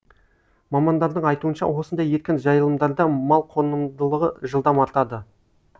мамандардың айтуынша осындай еркін жайылымдарда мал қонымдылығы жылдам артады